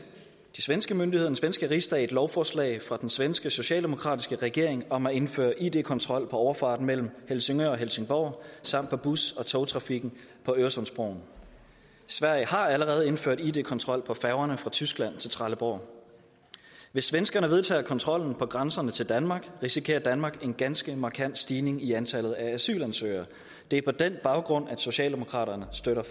de svenske myndigheder den svenske rigsdag et lovforslag fra den svenske socialdemokratiske regering om at indføre id kontrol på overfarten mellem helsingør og helsingborg samt på bus og togtrafikken på øresundsbroen sverige har allerede indført id kontrol på færgerne fra tyskland til trelleborg hvis svenskerne vedtager kontrollen ved grænserne til danmark risikerer danmark en ganske markant stigning i antallet af asylansøgere det er på den baggrund at socialdemokraterne støtter